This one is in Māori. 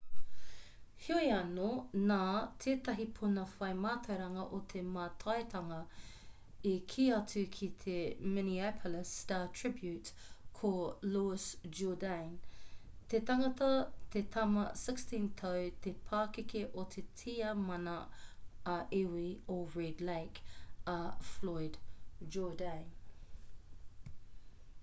heoi anō nā tētahi puna whai mātauranga o te mātaitanga i kī atu ki te minneapolis star-tribune ko louis jourdain te tangata te tama 16-tau te pakeke o te tiamana ā-iwi o red lake a floyd jourdain